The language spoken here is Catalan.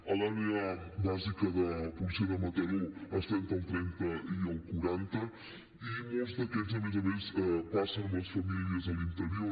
a l’àrea bàsica de policia de mataró està entre el trenta i el quaranta i molts d’aquests a més a més passen amb les famílies a l’interior